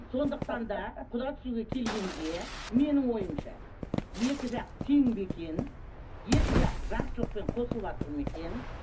сондықтан да құда түсуге келгенде менің ойымша екі жақ тең бе екен екі жақ жақсылықпен қосылыватыр ма екен